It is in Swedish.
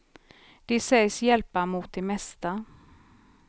Det sägs hjälpa mot det mesta.